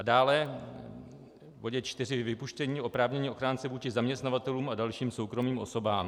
A dále v bodě 4 vypuštění oprávnění ochránce vůči zaměstnavatelům a dalším soukromým osobám.